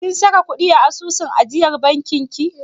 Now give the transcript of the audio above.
Kin saka ƙuɗi a asusun ajiyar bankin ki?